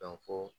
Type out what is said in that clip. Dɔn ko